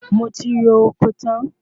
Mo ti ro oko tán